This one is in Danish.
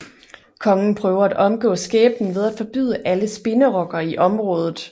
Kongen prøver at omgå skæbnen ved at forbyde alle spinderokker i området